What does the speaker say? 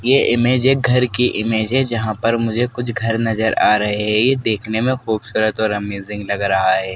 ये इमेज एक घर की इमेज है जहां पर मुझे कुछ घर नजर आ रहे ये देखने में खूबसूरत और अमेजिंग लग रहा है।